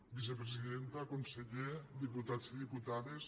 vicepresidenta conseller diputats i diputades